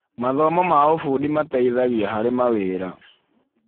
Mathomo ma ũbundi mateithagia harĩ mawĩra